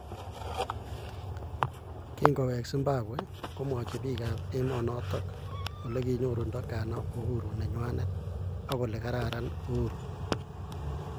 Kingowek Zimbabwe, kimwachi bik ab emonotok olekinyorundo ghana uhuru nenywanet ak olekararan uhuru.